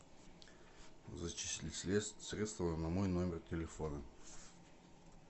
зачисли средства на мой номер телефона